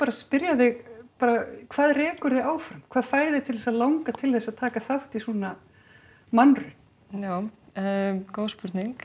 spyrja þig hvað rekur þig áfram hvað fær þig til að langa til að taka þátt í svona mannraun góð spurning